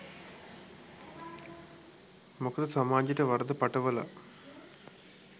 මොකද සමාජයට වරද පටවලා